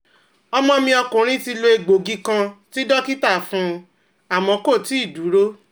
ọmọ mi ọkùnrin ti lo egboogí kan tí dókítà fún un, àmọ́ kò tíì dúró